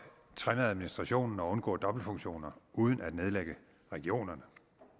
trimme administrationen og undgå dobbeltfunktioner uden at nedlægge regionerne